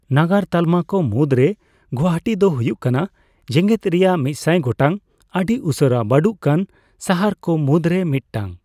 ᱱᱟᱜᱟᱨ ᱛᱟᱞᱢᱟ ᱠᱚ ᱢᱩᱫᱽᱨᱮ ᱜᱩᱣᱟᱦᱟᱹᱴᱤ ᱫᱚ ᱦᱩᱭᱩᱜ ᱠᱟᱱᱟ ᱡᱮᱜᱮᱫ ᱨᱮᱭᱟᱜ ᱑᱐᱐ ᱜᱚᱴᱟᱝ ᱟᱹᱰᱤ ᱩᱥᱟᱹᱨᱟ ᱵᱟᱹᱰᱚᱜ ᱠᱟᱱ ᱥᱟᱦᱟᱨ ᱠᱚ ᱢᱩᱫᱽ ᱨᱮ ᱢᱤᱫᱴᱟᱝ ᱾